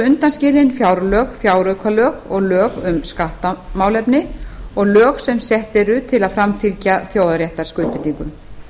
undanskilin fjárlög fjáraukalög lög um skattamálefni og lög sem sett eru til að framfylgja þjóðréttarskuldbindingum